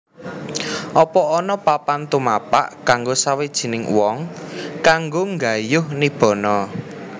Apa ana papan tumapak kanggo sawijining wong kanggo nggayuh Nibbana